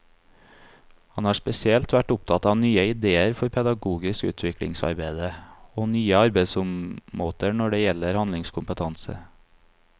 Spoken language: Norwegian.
Han har spesielt vært opptatt av nye idéer for pedagogisk utviklingsarbeide og nye arbeidsmåter når det gjelder handlingskompetanse.